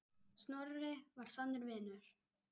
Snorri var sannur vinur.